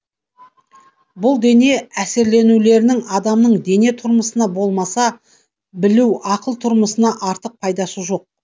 бұл дене әсерленулерінің адамның дене тұрмысына болмаса білу ақыл тұрмысына артық пайдасы жоқ